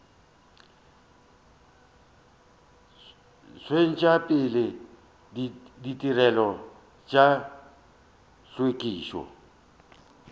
tšwetša pele ditirelo tša hlwekišo